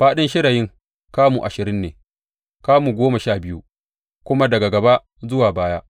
Fāɗin shirayin kamu ashirin ne, kamu goma sha biyu kuma daga gaba zuwa baya.